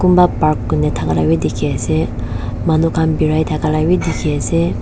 kunba park kurina thaka labi dikhiase manu khan birai thaka la bi dikhiase.